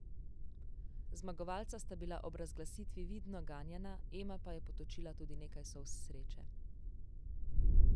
Zmagovalca sta bila ob razglasitvi vidno ganjena, Ema pa je potočila tudi nekaj solz sreče.